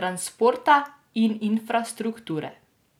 transporta in infrastrukture.